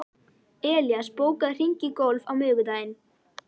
Elías, bókaðu hring í golf á miðvikudaginn.